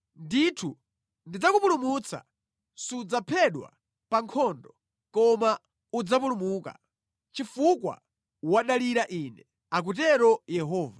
Ndithu ndidzakupulumutsa; sudzaphedwa pa nkhondo koma udzapulumuka, chifukwa wadalira Ine, akutero Yehova.’ ”